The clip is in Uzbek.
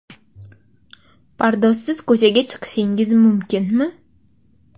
Pardozsiz ko‘chaga chiqishingiz mumkinmi?